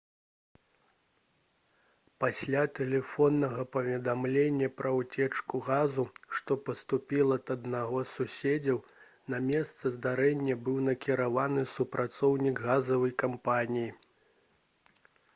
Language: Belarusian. пасля тэлефоннага паведамлення пра ўцечку газу што паступіла ад аднаго з суседзяў на месца здарэння быў накіраваны супрацоўнік газавай кампаніі